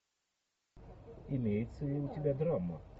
имеется ли у тебя драма